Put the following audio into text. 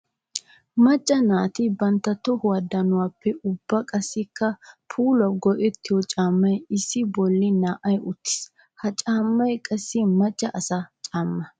Maca naati bantta tohuwa danuwape ubba qassikka puulawu go'ettiyo camay issi bolla na'ay uttiis. Ha caamay qassi maca asaa caama.